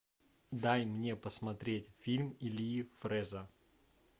дай мне посмотреть фильм ильи фрэза